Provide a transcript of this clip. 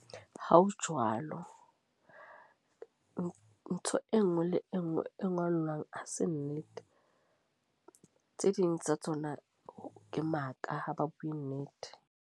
Ha ho jwalo, ntho ntho e nngwe le e nngwe e ngolwang ha se nnete. Tse ding tsa tsona, ke maka ha ba bue nnete.